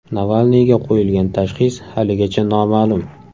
Navalniyga qo‘yilgan tashxis haligacha noma’lum.